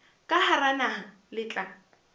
ka hara naha le tla